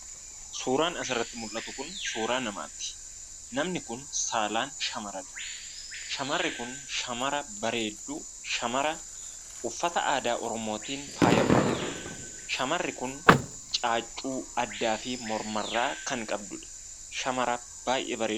Suuraan asirratti mul'atu kun suuraa namaati. Namni kun saalaan shamara dha. Shamarri kun shamara bareedduu, shamara uffata aadaa Oromootiin faayamtee jirtuudha. Shamarri kun caaccuu addaa fi mormarraa kan qabduudha. shamara baay'ee bareedduu.